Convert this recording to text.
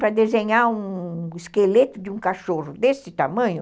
Para desenhar um esqueleto de um cachorro desse tamanho...